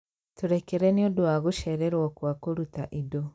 Tũrekere nĩ ũndũ wa gũcererwo kwa kũruta indo